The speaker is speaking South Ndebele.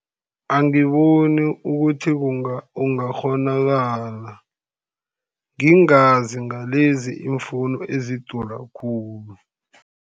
Angiboni ukuthi kungakghonakala. Ngingazi ngalezi iimfowuni ezidura khulu.